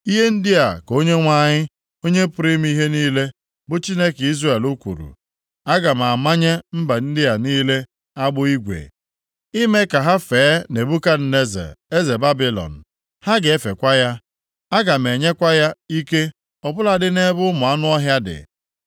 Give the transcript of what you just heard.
Ihe ndị a ka Onyenwe anyị, Onye pụrụ ime ihe niile, bụ Chineke Izrel, kwuru. Aga m anyanye mba ndị a niile agbụ igwe, i mee ka ha fee Nebukadneza eze Babilọn. Ha ga-efekwa ya. Aga m enyekwa ya ike ọ bụladị nʼebe ụmụ anụ ọhịa dị.’ ”